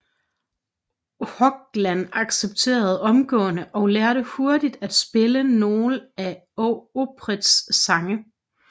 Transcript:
Hoglan accepterede omgående og lærte hurtigt at spille nogle af Opeths sange